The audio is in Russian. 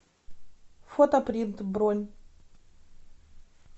фотопринт бронь